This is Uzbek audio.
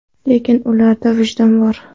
Lekin ularda vijdon bor.